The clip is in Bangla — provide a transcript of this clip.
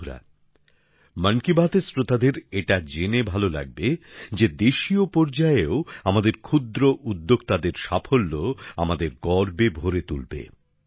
বন্ধুরা মন কি বাতএর শ্রোতাদের এটা জেনে ভালো লাগবে যে দেশীয় পর্যায়েও আমাদের ক্ষুদ্র উদ্যোক্তাদের সাফল্য আমাদের গর্বিত করে